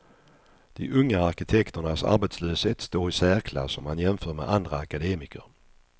De unga arkitekternas arbetslöshet står i särklass om man jämför med andra akademiker.